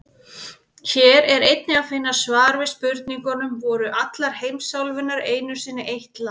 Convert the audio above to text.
Hér er einnig að finna svar við spurningunum: Voru allar heimsálfurnar einu sinni eitt land?